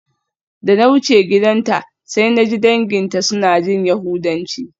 Da na wuce gidanta sai naji danginta suna jin yahudanci.